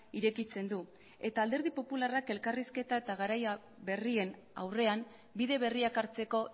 irekitzen du eta alderdi popularrak elkarrizketa eta garaia berrien aurrean bide berriak hartzeko